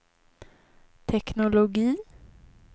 teknologi